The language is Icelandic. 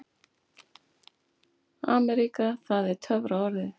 AMERÍKA það var töfraorðið.